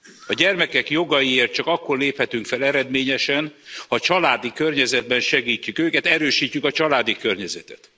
A gyermekek jogaiért csak akkor léphetünk fel eredményesen, ha családi környezetben segítjük őket, erősítjük a családi környezetet.